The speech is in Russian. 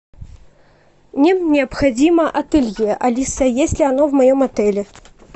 мне необходимо ателье алиса есть ли оно в моем отеле